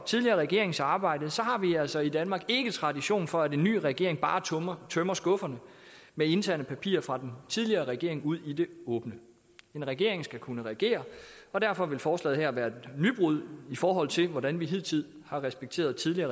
tidligere regerings arbejde har vi altså i danmark ikke tradition for at en ny regering bare tømmer skufferne med interne papirer fra den tidligere regering ud i det åbne en regering skal kunne regere og derfor vil forslaget her være et nybrud i forhold til hvordan vi hidtil har respekteret tidligere